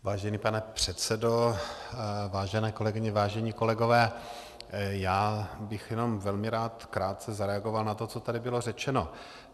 Vážený pane předsedo, vážené kolegyně, vážení kolegové, já bych jenom velmi rád krátce zareagoval na to, co tady bylo řečeno.